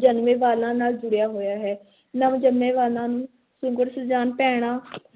ਜਨਮੇ ਬਾਲਾਂ ਨਾਲ ਜੁੜਿਆ ਹੋਇਆ ਹੈ ਨਵ-ਜੰਮੇ ਬਾਲਾਂ ਨੂੰ ਸੁਘੜ-ਸੁਜਾਨ ਭੈਣਾਂ